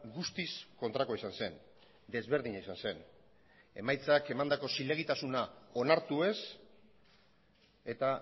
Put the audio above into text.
guztiz kontrakoa izan zen desberdina izan zen emaitzak emandako zilegitasuna onartu ez eta